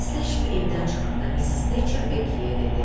Xudahafizləşib evdən çıxanda Missis Teçr Bekiyə dedi.